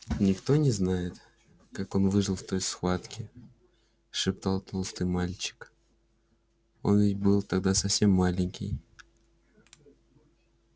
никто не знает как он выжил в той схватке шептал толстый мальчик он ведь был тогда совсем маленький